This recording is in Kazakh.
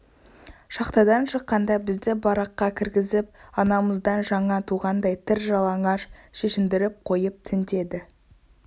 шахтадан шыққанда бізді бараққа кіргізіп анамыздан жаңа туғандай тыр жалаңаш шешіндіріп қойып тінтеді